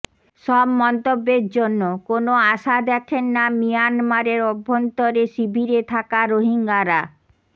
সব মন্তব্যের জন্য কোনো আশা দেখেন না মিয়ানমারের অভ্যন্তরে শিবিরে থাকা রোহিঙ্গারা